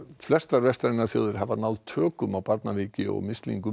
flestar vestrænar þjóðir hafa náð tökum á barnaveiki og mislingum